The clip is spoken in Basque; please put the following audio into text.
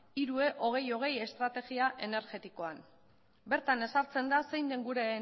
hiru e hogei hogei estrategia energetikoan bertan ezartzen da zein den gure